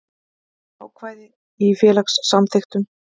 Ákvæði í félagssamþykktum.